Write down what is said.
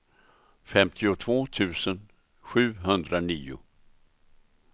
femtiotvå tusen sjuhundranio